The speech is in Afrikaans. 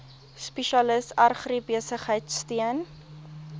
spesialis agribesigheid steun